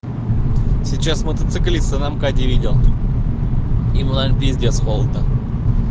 сейчас мотоциклиста на мкаде видел ему наверно пиздец холодно